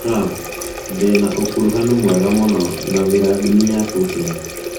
Trump: Ndĩ na ũkuruhanu mwega mũno na Vladimir Putin